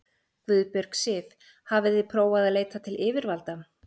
Guðbjörg Sif: Hafið þið prófað að leita til yfirvalda?